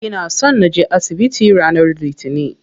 Ina so naje asibiti ranar litinin.